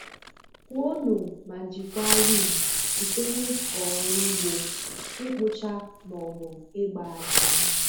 Kwuonụ ma jikwaa rim site n'ịkọ ọrụ ugbo, ịkpụcha, maọbụ ịgba aja.